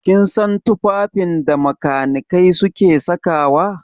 Kin san tufafin da makanikai suke saka wa?